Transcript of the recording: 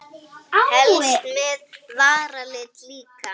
Helst með varalit líka.